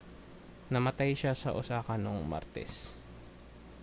namatay siya sa osaka noong martes